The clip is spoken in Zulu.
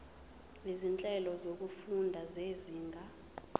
izinhlelo zokufunda zezinga